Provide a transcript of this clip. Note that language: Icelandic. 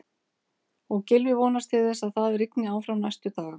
Og Gylfi vonast til þess að það rigni áfram næstu daga?